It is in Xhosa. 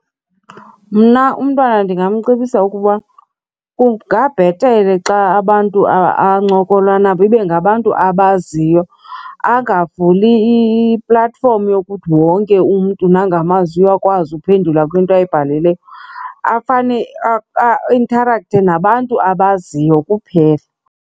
Mna umntwana ndingamcebisa ukuba kungabhetele xa abantu ancokola nabo ibe ngabantu abaziyo, angavuli i-platform yokuthi wonke umntu nangamaziyo akwazi uphendula kwinto ayibhalileyo. Afane aintarakthe nabantu abaziyo kuphela.